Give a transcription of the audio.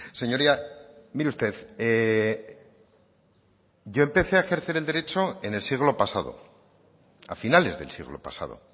señoría mire usted yo empecé a ejercer el derecho en el siglo pasado a finales del siglo pasado